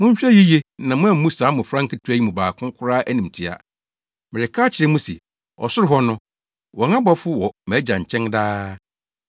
“Monhwɛ yiye na moammu saa mmofra nketewa yi mu baako koraa animtiaa. Mereka akyerɛ mo se, ɔsoro hɔ no, wɔn abɔfo wɔ mʼagya nkyɛn daa.